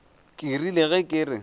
ke rile ge ke re